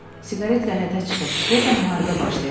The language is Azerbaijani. Siqaret qəhətə çıxıb, deyəsən müharibə başlayacaq.